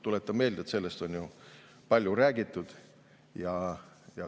Tuletan meelde, et sellest on palju räägitud.